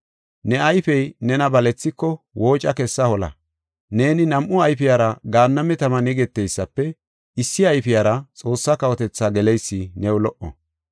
Ne ayfey nena balethiko, wooca kessa hola. Neeni nam7u ayfiyara gaanname taman yegeteysafe, issi ayfiyara Xoossaa kawotethaa geleysi new lo77o.